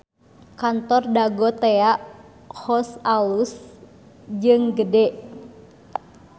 Kantor Dago Tea House alus jeung gede